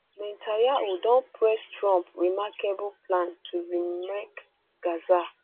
netanyahu don praise trump remarkable um plan to remake gaza